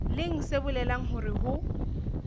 leng se bolelang hore ho